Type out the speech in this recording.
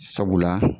Sabula